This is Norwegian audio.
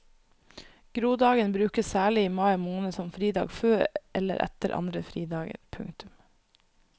Grodagen brukes særlig i mai måned som fridag før eller etter andre fridager. punktum